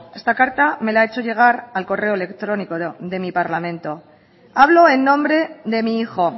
esta carta me la ha hecho llegar al correo electrónico de mi parlamento hablo en nombre de mi hijo